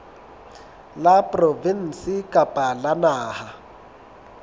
la provinse kapa la naha